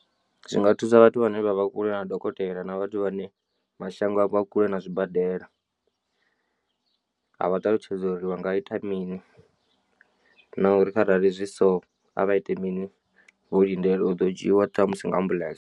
Zwinga thusa vhathu vhane vha vha kule na dokotela na vhathu vhane mashango a vho a kule na zwibadela. A vha ṱalutshedza uri vha nga ita mini na uri kharali zwi so a vha ite mini vho lindela u ḓo dzhiwa ṱhamusi nga ambuḽentse.